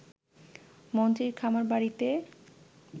মন্ত্রীর খামারবাড়িতে